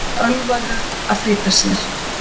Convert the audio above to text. Ölvaður að flýta sér